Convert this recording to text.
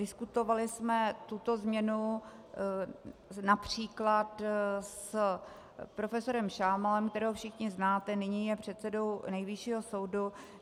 Diskutovali jsme tuto změnu například s profesorem Šámalem, kterého všichni znáte, nyní je předsedou Nejvyššího soudu.